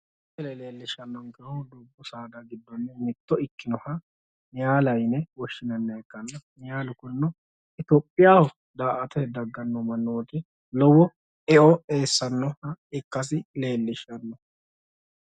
Misile leellishshannonkkehu dubbu saada giddo mitto ikkinohu niyaala yine woshinanniha ikkanna, niyaalu kunino itophiyaho da'aattote dagganno mannooti lowo eo eessannoha ikkasi leellishshanno.